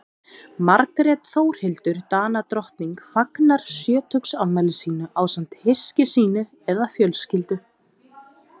Margrét Þórhildur Danadrottning fagnar sjötugsafmæli sínu ásamt hyski sínu eða fjölskyldu.